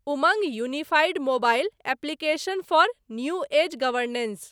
Umang unified mobile application for new age governance